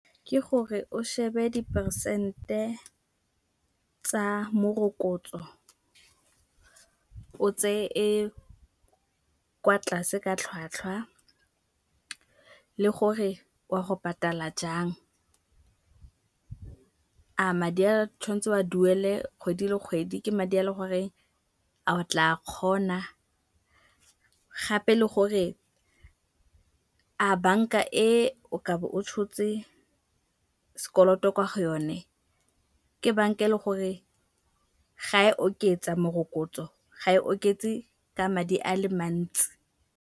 Ke gore o shebe dipersente tsa morokotso, o tseye e kwa tlase ka tlhwatlhwa le gore o a go patala jang. A madi a tshwantse o a duele kgwedi le kgwedi ke madi a leng gore a o tla kgona gape le gore a banka e o ka bo o tshotse s'koloto kwa go yone, ke banka e leng gore ga e oketsa morokotso, ga e oketse ka madi a le mantsi.